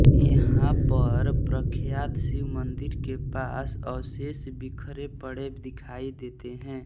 यहाँ पर प्रख्यात् शिव मंदिर के पास अवशेष बिखरे पड़े दिखाई देते हैं